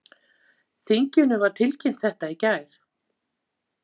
Þinginu var tilkynnt þetta í gær